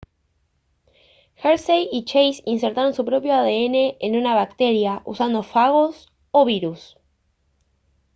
hershey y chase insertaron su propio adn en una bacteria usando fagos o virus